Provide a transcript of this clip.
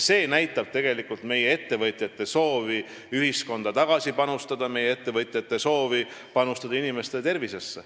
See näitab tegelikult meie ettevõtjate soovi ühiskonda tagasi panustada, sh nende soovi panustada inimeste tervisesse.